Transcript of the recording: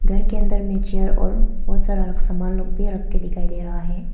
घर के अंदर में चेयर और बहुत सारा सामान लोग भी रख के दिखाई दे रहा है।